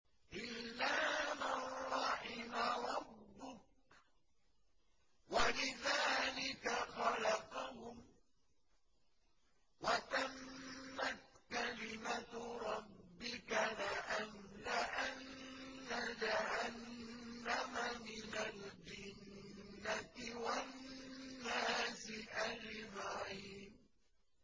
إِلَّا مَن رَّحِمَ رَبُّكَ ۚ وَلِذَٰلِكَ خَلَقَهُمْ ۗ وَتَمَّتْ كَلِمَةُ رَبِّكَ لَأَمْلَأَنَّ جَهَنَّمَ مِنَ الْجِنَّةِ وَالنَّاسِ أَجْمَعِينَ